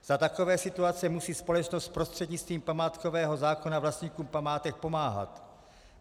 Za takovéto situace musí společnost prostřednictvím památkového zákona vlastníkům památek pomáhat.